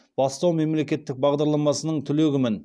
бастау мемлекеттік бағдарламасының түлегімін